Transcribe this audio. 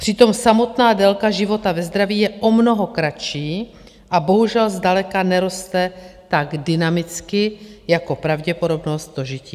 Přitom samotná délka života ve zdraví je o mnoho kratší a bohužel zdaleka neroste tak dynamicky jako pravděpodobnost dožití.